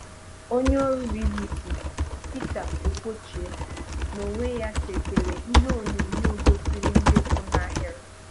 Ónyé ọ́rụ BBC Pítà Okwoche n'ònwé ya sètèrè íhé ònyònyóò gósírí ndị̀ kwụ n'áhị́rị